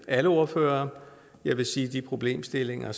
alle ordførerne jeg vil sige at de problemstillinger